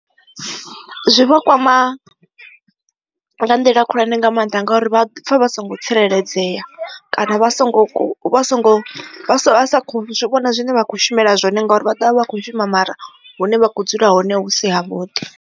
Zwi vha kwama nga nḓila khulwane nga maanḓa ngauri vha pfha vha songo tsireledzea kana vha songo vha songo zwivhona zwine vha khou shumela zwone ngauri vha ḓovha vha kho shuma mara hune vha kho dzula hone hu si ha vhuḓi.